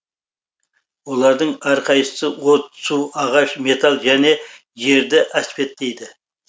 олардың әрқайсысы от су ағаш металл және жерді әспеттейді